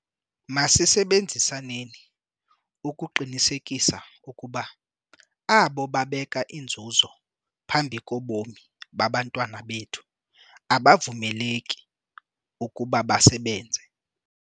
Masisebenzisaneni ukuqinisekisa ukuba abo babeka inzuzo phambi kobomi babantwana bethu abavumeleki ukuba basebenze.